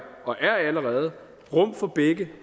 og er allerede rum for begge